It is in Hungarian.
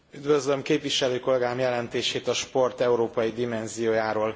Üdvözlöm képviselőkollégám jelentését a sport európai dimenziójáról.